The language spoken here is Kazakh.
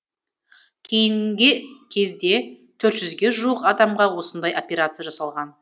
кейінгі кезде төрт жүзге жуық адамға осындай операция жасалған